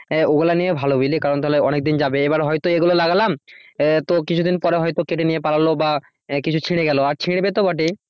হ্যাঁ ওগুলো নেওয়াই ভালো বুঝলি কারণ তাহলে অনেকদিন যাবে এবার হয়তো এগুলো লাগালাম আহ তো কিছুদিন পরে হয়তো কেটে নিয়ে পালালো বা আহ কিছু ছিঁড়ে গেল আর ছিঁড়বে তো বটেই।